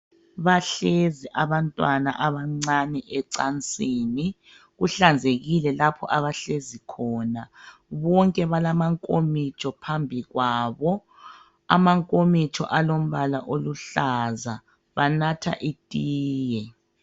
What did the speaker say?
Bahlezi abantwana abancane ecansini . Kuhlanzekile lapho abahlezi khona .Bonke balamankomitsho phambi kwabo .Amankomitsho alombala oluhlaza banatha itiye .